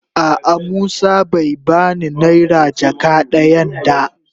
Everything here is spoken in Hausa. A'a musa bai ba ni naira jaka dayan da.